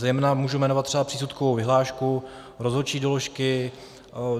Zejména můžu jmenovat třeba přísudkovou vyhlášku, rozhodčí doložky.